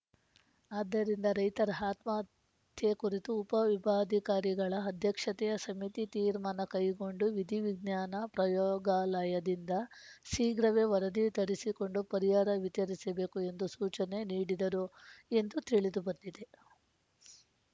ಆದ್ದರಿಂದ ರೈತರ ಆತ್ಮಹತ್ಯೆ ಕುರಿತು ಉಪ ವಿಭಾಗಾಧಿಕಾರಿಗಳ ಅಧ್ಯಕ್ಷತೆಯ ಸಮಿತಿ ತೀರ್ಮಾನ ಕೈಗೊಂಡು ವಿಧಿ ವಿಜ್ಞಾನ ಪ್ರಯೋಗಾಲಯದಿಂದ ಶೀಘ್ರವೇ ವರದಿ ತರಿಸಿಕೊಂಡು ಪರಿಹಾರ ವಿತರಿಸಬೇಕು ಎಂದು ಸೂಚನೆ ನೀಡಿದರು ಎಂದು ತಿಳಿದು ಬಂದಿದೆ